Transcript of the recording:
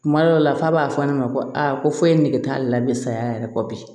Kuma dɔw la f'a b'a fɔ ne ma ko aa ko foyi nege t'a la bi saya yɛrɛ kɔ bi